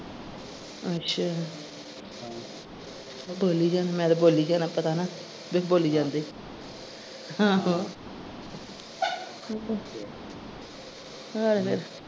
ਅੱਛਾ ਬੋਲੀ ਜਾਣ ਮੈਂ ਤੇ ਬੋਲੀ ਜਾਣਾ ਪਤਾ ਨਾ ਬੀ ਬੋਲੀ ਜਾਂਦੇ, ਆਹੋ ਹੋਰ?